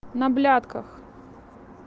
на блятках